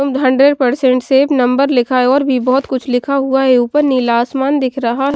hundred percent safe number लिखा है और भी बहुत कुछ लिखा हुआ है ऊपर नीला आसमान दिख रहा --